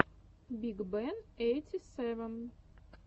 биг бен эйти сэвэн